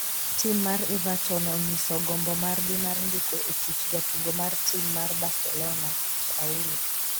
tim mar everton onyiso gombo margi mar ndiko e tich jatugo mar tim mar Barcelona ,paulo